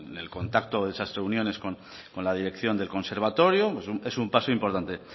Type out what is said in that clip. en el contacto de esas reuniones con la dirección del conservatorio es un paso importante